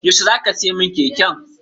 Yaushe za ka siya min keken?